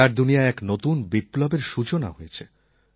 খেলার দুনিয়ায় এক নতুন বিপ্লবের সূচনা হয়েছে